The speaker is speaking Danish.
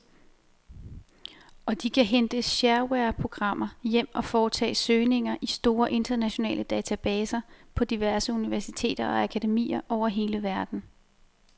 Og de kan hente sharewareprogrammer hjem og foretage søgninger i store internationale databaser på diverse universiteter og akademier over hele verden.